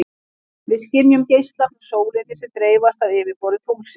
Við skynjum geisla frá sólinni sem dreifast af yfirborði tunglsins.